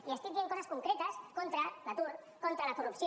li estic dient coses concretes contra l’atur contra la corrupció